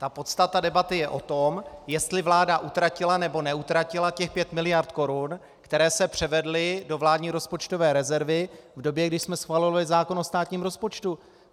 Ta podstata debaty je o tom, jestli vláda utratila, nebo neutratila těch pět miliard korun, které se převedly do vládní rozpočtové rezervy v době, kdy jsme schvalovali zákon o státním rozpočtu.